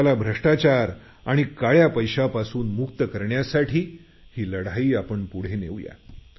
देशाला भ्रष्टाचार आणि काळ्या पैशापासून मुक्त करण्यासाठी ही लढाई आपण पुढे नेऊया